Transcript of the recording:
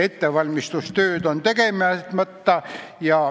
Ettevalmistustööd on tegemata.